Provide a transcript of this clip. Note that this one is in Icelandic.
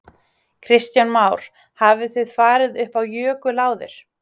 Kristján Már: Hafið þið farið upp á jökul áður?